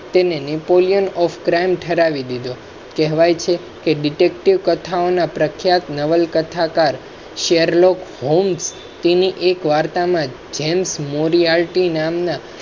તેને Nepolian of crime ઠરાવી દીધો કહેવાય છે કે detective કથાઓ ના પ્રખ્યાત નવલકથાકાર Sherlock homes તી ની એક વાર્તા jems